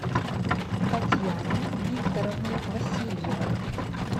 татьяне викторовне васильевой